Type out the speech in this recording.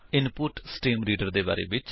input stream reader ਦੇ ਬਾਰੇ ਵਿੱਚ